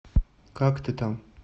как ты там